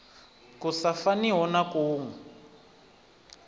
ku sa faniho na kuwe